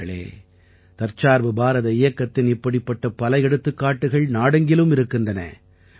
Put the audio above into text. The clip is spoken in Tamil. நண்பர்களே தற்சார்பு பாரத இயக்கத்தின் இப்படிப்பட்ட பல எடுத்துக்காட்டுகள் நாடெங்கிலும் இருக்கின்றன